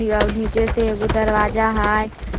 आव नीचे से एगो दरवाजा हय।